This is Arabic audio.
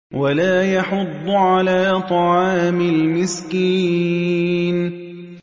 وَلَا يَحُضُّ عَلَىٰ طَعَامِ الْمِسْكِينِ